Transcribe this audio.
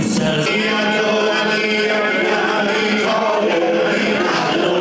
Heydər, Əli, Heydər, Əli, Heydər, Əli!